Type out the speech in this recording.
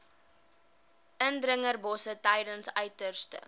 indringerbosse tydens uiterste